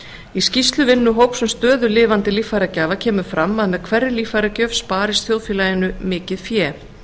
í skýrslu vinnuhóps um stöðu lifandi líffæragjafa kemur fram að með hverri líffæragjöf sparist þjóðfélaginu mikið fé